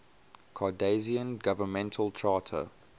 cardassian governmental charter